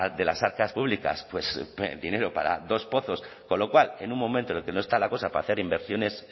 de las arcas públicas dinero para dos pozos con lo cual en un momento en el que no está la cosa para hacer inversiones